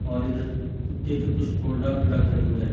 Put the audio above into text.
और इधर कु कुत्ते के कुछ प्रोडक्ट रखे हुए हैं।